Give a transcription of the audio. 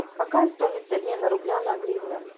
какая стоимость обмена рубля на гривны